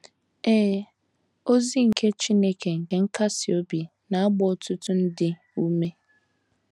Ee, ozi nke ‘ Chineke nke nkasi obi ’ na - agba ọtụtụ ndị ume.